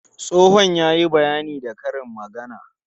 Tsohon ya yi bayani da karin magana.